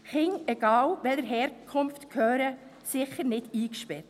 Kinder, egal welcher Herkunft, gehören sicher nicht eingesperrt.